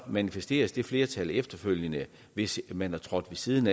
manifesteres det flertal efterfølgende hvis man er trådt ved siden